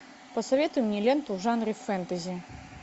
посоветуй мне ленту в жанре фэнтези